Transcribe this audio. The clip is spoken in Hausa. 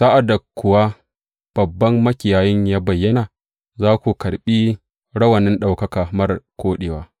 Sa’ad da kuwa Babban Makiyayin ya bayyana, za ku karɓi rawanin ɗaukaka marar koɗewa.